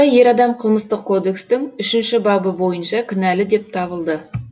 ер адам қылмыстық кодекстің үшінші бабы бойынша кінәлі деп танылды